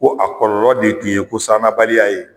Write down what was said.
Ko a kɔlɔlɔ de tun ye ko sannabaliya ye